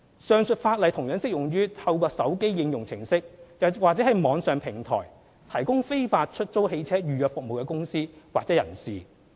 上述法例同樣適用於透過手機應用程式或網上平台提供非法出租車預約服務的公司或人士。